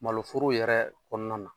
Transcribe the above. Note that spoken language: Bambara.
Malo foro yɛrɛ kɔnɔna na.